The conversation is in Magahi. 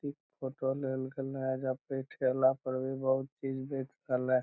इ फोटो लेल गले एजा पे ठेला पर भी बहुत चीज बेच रहले ।